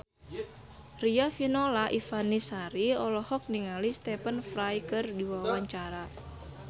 Riafinola Ifani Sari olohok ningali Stephen Fry keur diwawancara